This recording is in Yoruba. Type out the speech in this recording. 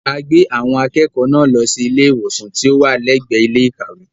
A gbé àwọn akẹ́kọ̀ọ́ náà lọ sí ilé ìwòsàn tí ó wà lẹ́gbẹ̀ẹ́ ilé ìkàwé.